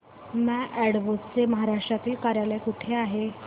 माय Advo चे महाराष्ट्रातील कार्यालय कुठे आहे